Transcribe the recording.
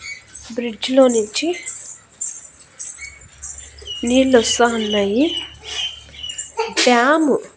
Bridge లోనించి నీళ్లు వస్తా ఉన్నాయి డ్యాము .